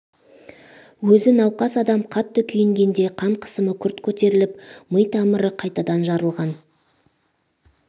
өз науқас адам қатты күйінгенде қан қысымы күрт көтеріліп ми тамыры қайтадан жарылған